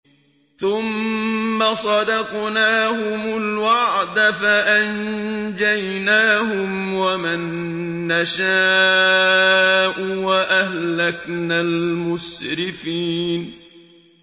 ثُمَّ صَدَقْنَاهُمُ الْوَعْدَ فَأَنجَيْنَاهُمْ وَمَن نَّشَاءُ وَأَهْلَكْنَا الْمُسْرِفِينَ